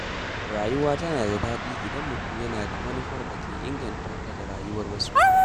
Rayuwa tana da daɗi idan mutum yana da manufar da ke inganta rayuwarsa da ta wasu.